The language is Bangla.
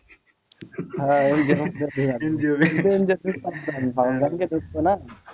হ্যাঁ NGO এর মধ্যেও ঢোকা যাবে